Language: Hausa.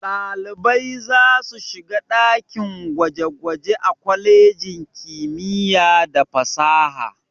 Ɗalibai za su shiga dakin gwaje-gwaje a kwalejin kimiyya da fasaha.